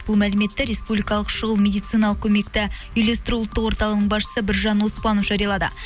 бұл мәліметті республикалық шұғыл медициналық көмекті үйлестіру ұлттық орталығының басшысы біржан оспанов жариялады